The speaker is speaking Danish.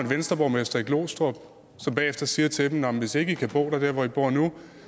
venstreborgmester i glostrup som bagefter siger til dem nå hvis ikke i kan bo der hvor i bor nu